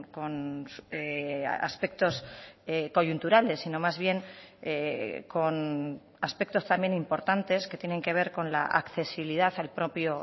con aspectos coyunturales sino más bien con aspectos también importantes que tienen que ver con la accesibilidad al propio